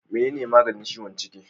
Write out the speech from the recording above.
Mene ne maganin ciwon ciki?